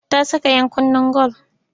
Ta saka ɗakunnen gwal.